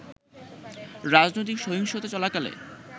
রাজনৈতিক সহিংসতা চলাকালে